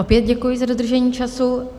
Opět děkuji za dodržení času.